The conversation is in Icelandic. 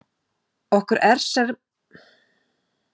Okkur er sem sé ekki ljóst að salt sé almennt skaðvaldur í umhverfinu.